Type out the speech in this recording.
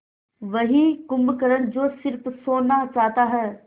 वही कुंभकर्ण जो स़िर्फ सोना चाहता है